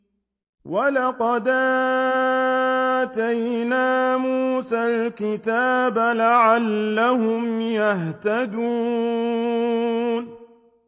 وَلَقَدْ آتَيْنَا مُوسَى الْكِتَابَ لَعَلَّهُمْ يَهْتَدُونَ